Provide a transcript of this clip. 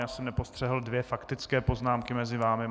Já jsem nepostřehl dvě faktické poznámky mezi vámi.